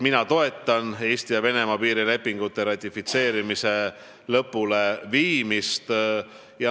Mina toetan Eesti ja Venemaa piirilepingute ratifitseerimise lõpuleviimist.